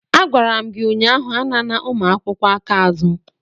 Agwara m gị ụnyaahụ, anana ụmụ akwụkwọ aka azụ!